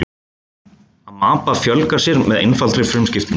Amaba fjölgar sér með einfaldri frumuskiptingu.